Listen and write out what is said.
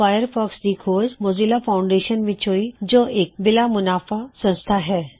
Firefox ਦੀ ਖੋਜ Mozilla foundation ਵਿੱਚ ਹੋਈ ਜੋ ਇੱਕ ਬਿਲਾ ਸੁਨਾਫਾ ਸੰਸਥਾ ਹੈ